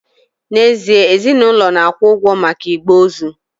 N'ezie, ezinụlọ na-akwụ ụgwọ maka igbe ozu